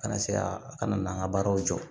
Kana se ka a kana an ka baaraw jɔ